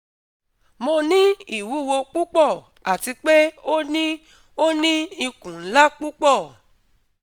mo ni iwuwo pupọ ati pe o ni o ni ikun nla pupọ